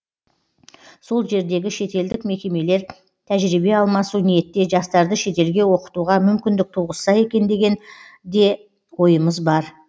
сол жердегі шетелдік мекемелер тәжірибе алмасу ниетте жастарды шетелге оқытуға мүмкіндік туғызса екен деген де ойымыз бар